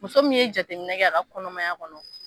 Muso min ye jateminɛ kɛ a ka kɔnɔmaya kɔnɔ